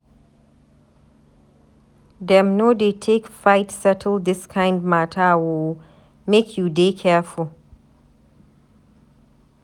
Dem no dey take fight settle dis kind mata o, make you dey careful.